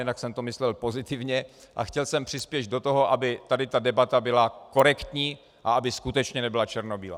Jinak jsem to myslel pozitivně a chtěl jsem přispět do toho, aby tady ta debata byla korektní a aby skutečně nebyla černobílá.